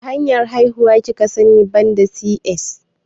Wacce hanyar haihuwa kika sani banda C.S?